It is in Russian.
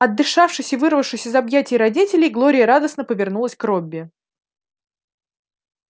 отдышавшись и вырвавшись из объятий родителей глория радостно повернулась к робби